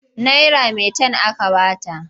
Naira maitan aka ba ta.